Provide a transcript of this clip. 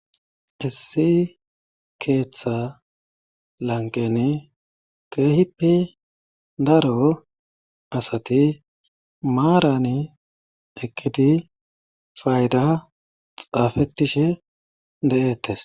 Issi keetha lanqqeni keehippe daro asati maarani eqqidi faydaa xaafettishe de7eettes.